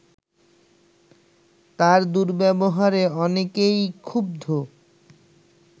তার দুর্ব্যবহারে অনেকেই ক্ষুব্ধ